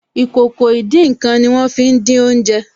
Ìkòkò ìdín-nǹkan ní wọ́n fí n dín oúnjẹ